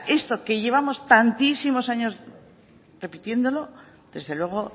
esto que llevamos tantísimos años repitiéndolo desde luego